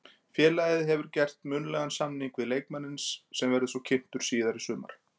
Félagið hefur gert munnlegan samning við leikmanninn sem verður svo kynntur síðar í sumar.